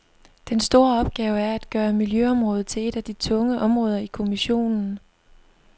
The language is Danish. Den store opgave er at gøre miljøområdet til et af de tunge områder i kommissionen.